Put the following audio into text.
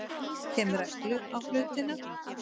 Kem reglu á hlutina.